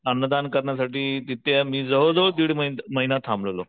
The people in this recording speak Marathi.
अन्नदान करण्यासाठी तिथे मी जवळ जवळ दीड मही महिना थांबलेलो.